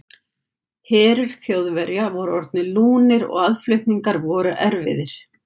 Herir Þjóðverja voru orðnir lúnir og aðflutningar voru erfiðir.